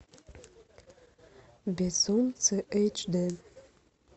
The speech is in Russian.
безумцы эйч д